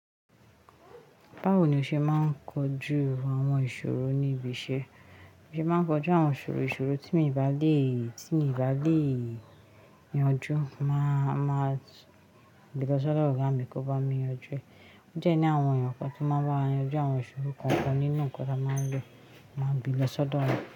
Báwo ni o ṣe máa ń kojú àwọn ìṣòro ní ibi iṣẹ́? N o ṣe máa ń kojú àwọn ìṣòro ìṣòro tí mi ò bá lè, tí mi ò bá lè yanjú, máa, máa bi ìlọsọ dọ ọgá mí kàn bá mi yanjú ẹ. Ó dẹ́ ní àwọn èèyàn kan tó máa ń bá mi yanjú àwọn ìṣòro kan kan nínú nǹkan tí a máa ń rí, máa bi ìlọsọ lọ́wọ́